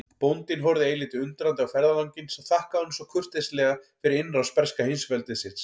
Bóndinn horfði eilítið undrandi á ferðalanginn sem þakkaði honum svo kurteislega fyrir innrás breska heimsveldisins.